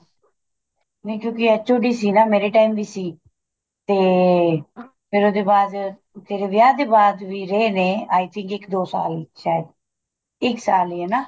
ਨੀਂ ਕਿਉਂਕਿ HOD ਸੀ ਨਾ ਮੇਰੇ time ਵੀ ਸੀ ਤੇ ਫੇਰ ਉਹਦੇ ਬਾਅਦ ਤੇਰੇ ਵਿਆਹ ਦੇ ਬਾਅਦ ਵੀ ਰਹੇ ਨੇ I think ਇੱਕ ਦੋ ਸਾਲ ਸ਼ਾਇਦ ਇੱਕ ਸਾਲ ਲੀਏ ਨਾ